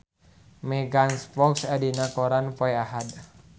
Megan Fox aya dina koran poe Ahad